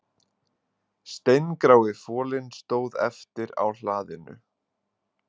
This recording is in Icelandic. Steingrái folinn stóð eftir á hlaðinu